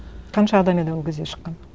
қанша адам еді ол кезде шыққан